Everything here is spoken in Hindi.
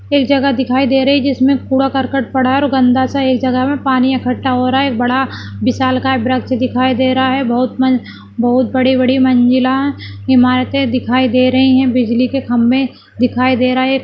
एक जगह दिखाई दे रही है जिसमें कूड़ा-करकट पड़ा है और गन्दा सा एक जगह में पानी इकट्ठा हो रहा है एक बड़ा विशालकाय वृक्ष दिखाई दे रहा है बहुत बन- बहुत बड़ी-बड़ी मंजिला ईमारतें दिखाई दे रही हैं बिजली के खंबे दिखाई दे रहा है।